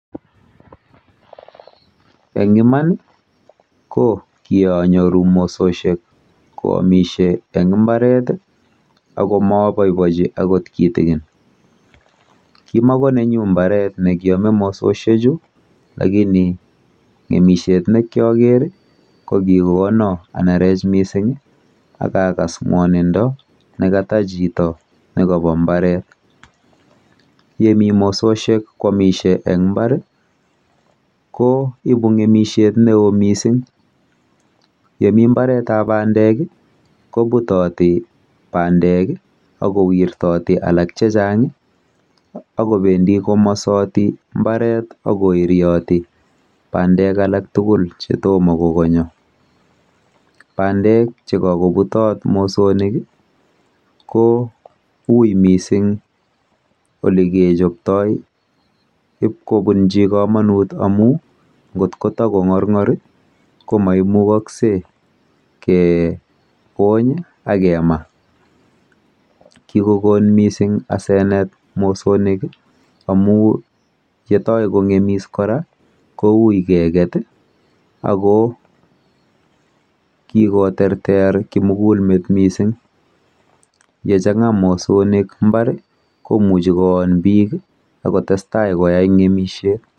Eng iman ko kianyoru mososhek koamisie eng mbar ako maaboibochi akot kitikin. Kimakonenyu mbaret nekiame mososhechu lakini ng'emishet nekiaker ko kikono anerech mising akakas ng'wonindo nekata chito nepo mbaret. Yemi mososhek koamisie eng mbar ko ipu ng'emishet neo mising. Yemi mbaretap bandek, koputoti bandek, akowirtooti alak chechang akowendi komasoti mbaret akoirioti bandek alak tugul chetomo kokonyo. Bandek chekakobutot mosonik ko ui mising olikechoptoi ipkobunchi komonut amu ngot kotakong'orng'or ko memukoksei kebony akema. Kikokon asenet mising mosonik amu yetoi kong'emis kora koui keket ako kikoterter kimugulmet mising, yechang'a mosonik mbar, komuchi koon biik akotestai koyai ng'emishet.